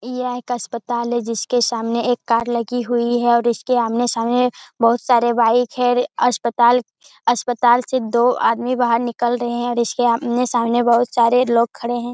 यह एक अस्पताल है जिसके सामने एक एक कार लगी हुई है और इसके आमने-सामने बहुत सारे बाइक हैं। अस्पताल अस्पताल से दो आदमी बाहर निकल रहें हैं और इसके आमने-सामने बहुत सारे लोग खड़े हैं।